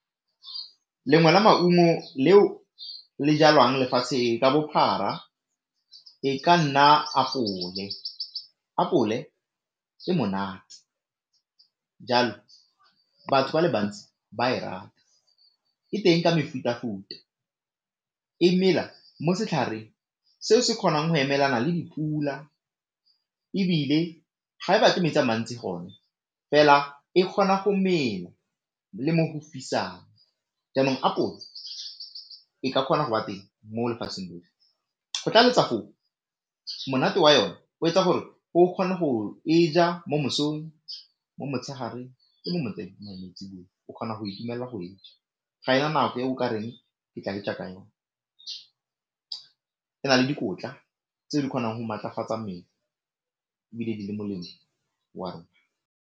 Lengwe la maungo leo le jalwang lefatshe ka bophara, e ka nna apole. Apole e monate jalo batho ba le bantsi ba e rata, e teng ka mefutafuta, e mela mo setlhareng seo se kgonang go emelana le dipula ebile ga e batle metsi a mantsi gone, fela e kgona go mela le mo go fisang, jaanong apole e ka kgona go ba teng mo lefatsheng lotlhe, go tlaleletsa foo monate wa yone o etsa gore o kgone go e ja mo mosong, mo motshegareng le mo , o kgona go itumelela go e ja, ga e na nako e o ka reng ke tla e ja ka yone, e na le dikotla tse di kgonang go maatlafatsa mmele ebile di le molemo wa rona.